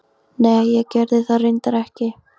Nei ég gerði það reyndar ekki.